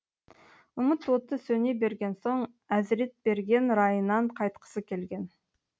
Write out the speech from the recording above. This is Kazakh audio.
үміт оты сөне берген соң әзіретберген райынан қайтқысы келген